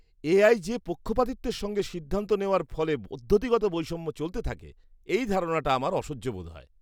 AI যে পক্ষপাতিত্বের সঙ্গে সিদ্ধান্ত নেওয়ার ফলে পদ্ধতিগত বৈষম্য চলতে থাকে, এই ধারণাটা আমার অসহ্য বোধ হয়।